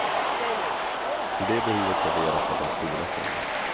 Hur det behovet värderas är den stora frågan.